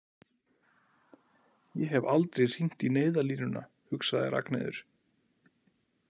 Ég hef aldrei hringt í neyðarlínuna, hugsaði Ragnheiður.